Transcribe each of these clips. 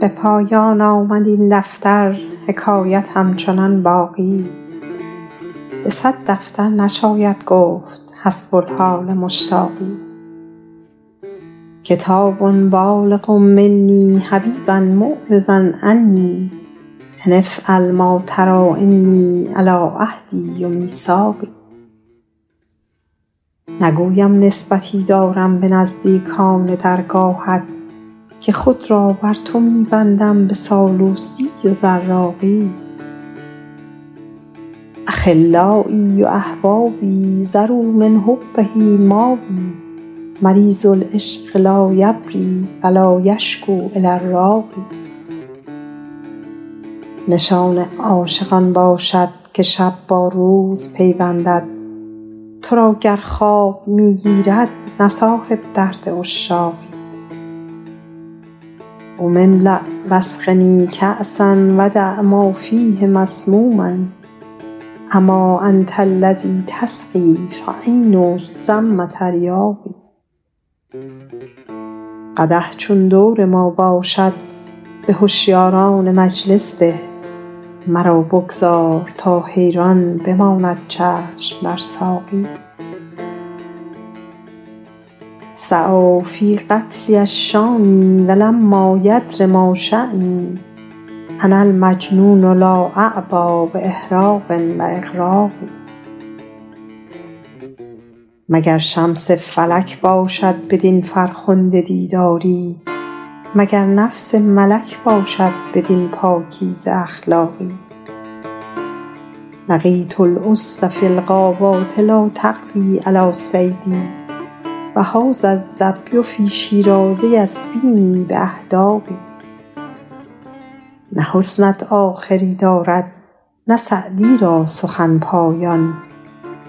به پایان آمد این دفتر حکایت همچنان باقی به صد دفتر نشاید گفت حسب الحال مشتاقی کتاب بالغ منی حبیبا معرضا عنی أن افعل ما تری إني علی عهدی و میثاقی نگویم نسبتی دارم به نزدیکان درگاهت که خود را بر تو می بندم به سالوسی و زراقی أخلایی و أحبابی ذروا من حبه مابی مریض العشق لا یبری و لا یشکو إلی الراقی نشان عاشق آن باشد که شب با روز پیوندد تو را گر خواب می گیرد نه صاحب درد عشاقی قم املأ و اسقنی کأسا و دع ما فیه مسموما أما أنت الذی تسقی فعین السم تریاقی قدح چون دور ما باشد به هشیاران مجلس ده مرا بگذار تا حیران بماند چشم در ساقی سعی فی هتکی الشانی و لما یدر ما شانی أنا المجنون لا أعبا بإحراق و إغراق مگر شمس فلک باشد بدین فرخنده دیداری مگر نفس ملک باشد بدین پاکیزه اخلاقی لقیت الأسد فی الغابات لا تقوی علی صیدی و هذا الظبی فی شیراز یسبینی بأحداق نه حسنت آخری دارد نه سعدی را سخن پایان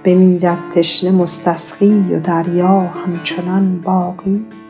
بمیرد تشنه مستسقی و دریا همچنان باقی